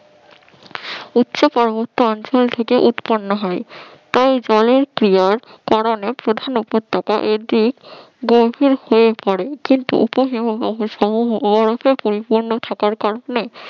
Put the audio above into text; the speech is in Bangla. উচ্চ পার্বত্য অঞ্চল থেকে উৎপন্ন হয়। এই জলের কারণে প্রধান উপত্যকায় এদিক গভীর হয়ে পড়ে কিন্তু উপ হিমবাহ বরফে পরিপূর্ণ থাকার কারণে